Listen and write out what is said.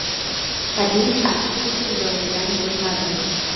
Tabiiyki, hech kim joyidan jilmadi.